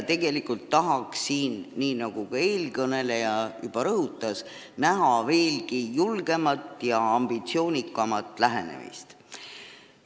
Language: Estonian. Tegelikult tahaks siin, nii nagu ka eelkõneleja juba rõhutas, näha veelgi julgemat ja ambitsioonikamat lähenemist.